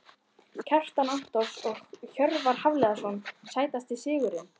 Kjartan Antons og Hjörvar Hafliðason Sætasti sigurinn?